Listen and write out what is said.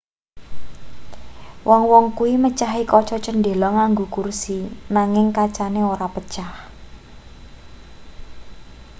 wong-wong kuwi mecahi kaca cendhela nganggo kursi nanging kacane ora pecah